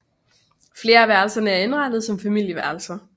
Flere af værelserne er indrettet som familieværelser